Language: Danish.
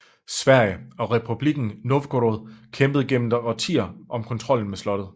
Sverige og Republikken Novgorod kæmpede gennem årtier om kontrollen med slottet